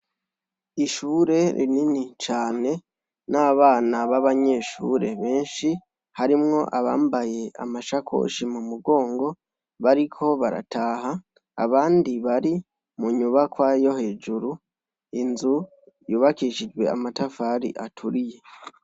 Ishure rinini cane n'abana b'abanyeshure benshi, harimwo abambaye amashakoshi mu mugongo, bariko barataha. Abandi bari mu nyubakwa yo hejuru, inzu yubakishijwe amatafari aturiye.